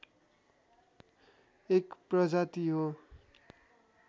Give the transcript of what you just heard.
एक प्रजाति हो